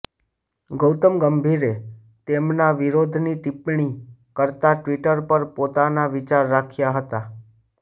ગૌતમ ગંભીરે તેમના વિરોધની ટિપ્પણી કરતા ટ્વિટર પર પોતાના વિચાર રાખ્યા હતા